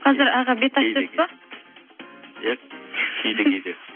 қазір аға бет ашып жүрсіз бе иә кейде кейде